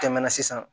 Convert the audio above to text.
Kɛmɛ sisan